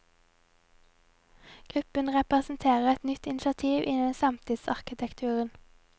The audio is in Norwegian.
Gruppen representerer et nytt initiativ innen samtidsarkitekturen.